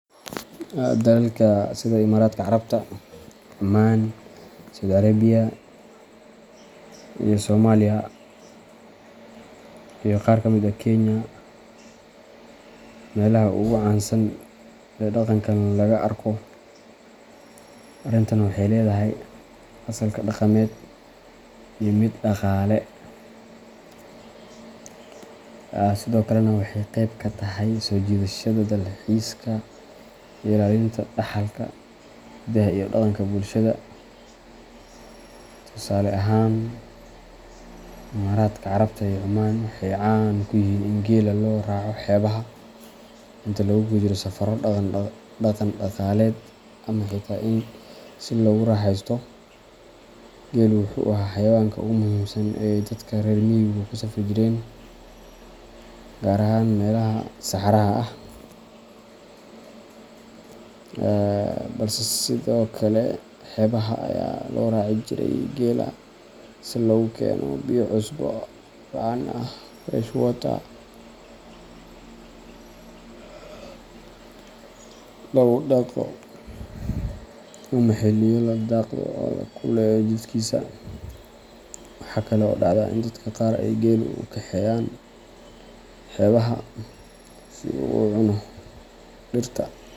Dalalka sida Imaaraadka Carabta, Cumaan, Sacuudi Carabiya, iyo Soomaaliya iyo qaar kamid ah Kenya meelaha ugu caansan ee dhaqankan laga arko. Arrintan waxay leedahay asalka dhaqameed iyo mid dhaqaale, sidoo kalena waxay qeyb ka tahay soo jiidashada dalxiiska iyo ilaalinta dhaxalka hidaha iyo dhaqanka bulshada. Tusaale ahaan, Imaaraadka Carabta iyo Cumaan waxay caan ku yihiin in geela loo raaco xeebaha inta lagu guda jiro safarro dhaqan-dhaqaaleed ama xitaa si loogu raaxeysto. Geelu wuxuu ahaa xayawaanka ugu muhiimsan ee ay dadka reer miyigu ku safri jireen, gaar ahaan meelaha saxaraha ah, balse sidoo kale xeebaha ayaa loo raaci jiray geela si loogu keeno biyo cusbo la'aan ah fresh water, loogu dhaqo, ama xilliyo la dhaqdo oo la kululeeyo jidhkiisa. Waxaa kale oo dhacda in dadka qaar ay geela u kaxeeyaan xeebaha si uu u cuno dhirta.